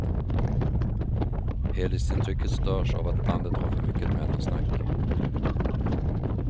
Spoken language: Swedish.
Helhetsintrycket störs av att bandet har för mycket mellansnack.